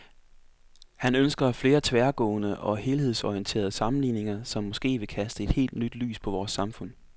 Han ønsker flere tværgående og helhedsorienterede sammenligninger, som måske vil kaste et helt nyt lys på vores samfund.